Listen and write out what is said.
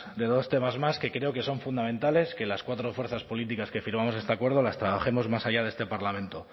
de dos temas más que creo que son fundamentales que las cuatro fuerzas políticas que firmamos este acuerdo las trabajemos más allá de este parlamento